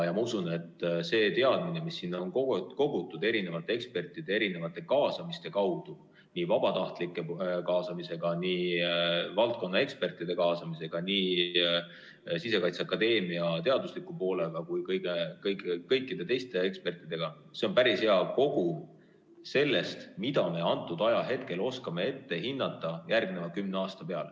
Ma usun, et see teadmine, mis sinna on kogutud erinevate ekspertide, erinevate kaasamiste kaudu – nii vabatahtlike kaasamisega, valdkonna ekspertide kaasamisega, nii Sisekaitseakadeemia, teadusliku poole kui ka kõikide teiste ekspertide kaasamisega – on päris hea kogum sellest, mida me antud ajahetkel oskame ette hinnata järgneva kümne aasta kohta.